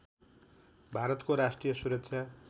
भारतको राष्ट्रिय सुरक्षा